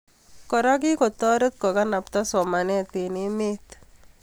Kora, kikotoret kokalbta somanet eng emet